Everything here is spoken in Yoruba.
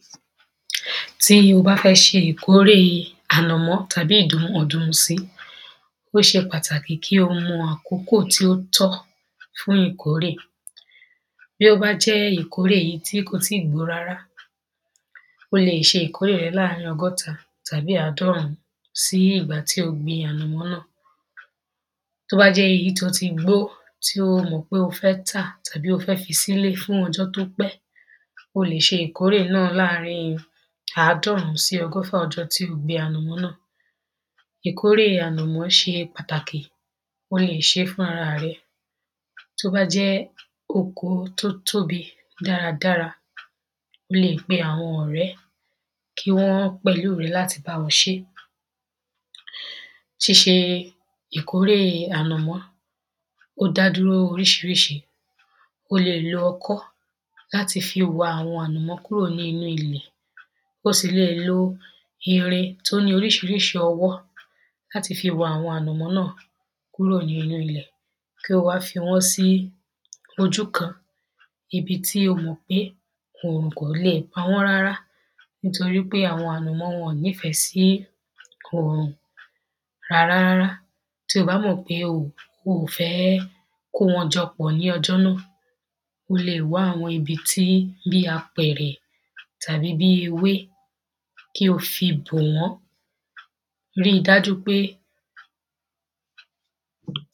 tí o bá fẹ́ ṣe ìkórè ànàmọ́ tàbí ìdùn ọ̀dùnsí, ó ṣe pàtàkì kí o mọ àkókò tí ó tọ́ fún ìkórè tí ó bá jẹ́ èyí tí kò ì tíì gbó rára, o lè ṣe ìkórè rẹ̀ láàrìn ọgọ́ta tàbí àádọ́rún sí ìgbà tí o gbin ànàmọ́ náà tí ó bá jẹ́ èyí tó ti gbó, tí o mọ̀ pé o fẹ́ tà tàbí tí o fẹ́ fi sílé fún ọjọ́ tí ó pẹ́, o lè ṣe ìkórè náà láàrín àádọ́rún sí ọgọ́fà ọjọ́ tí o gbin ànàmọ́ náà ìkórè ànàmọ́ ṣe pàtàkì, o lè ṣe é fún ara rẹ tó bá jọ́ oko tó tóbi dáradára, o lè pe àwọn ọ̀rẹ́, kí wọ́n pẹ̀lú rẹ láti báwọn ṣe ṣíṣe ìkórè ànàmọ́, o dá dúró oríṣiríṣi, o lè lo ọkọ́ láti fi wà ànàmọ́ kúrò nínú ilẹ̀ o sì lée lo irin tó ní oríṣiríṣi ọwọ́ láti fi wa àwọn ànàmọ́ náà kúrò nínú ilẹ̀ kí o wá fi wọ́n sí ojú kan, ibi tí o mọ̀ pé òòrùn kò lè pawọ́n rárá nítorí pé àwọn ànàmọ́ wọ̀n nífẹ̀ sí òrùn rárá rárá. tí o bá mọ̀ pé ò oò fẹ́ kówọ́n jọ pọ̀ ní ọjọ́ náà, o lè wá àwọn ibi tí bíi àpẹ̀rẹ̀ tàbí bíi ewé kí o fí bò wọ́n. rí i dájú pé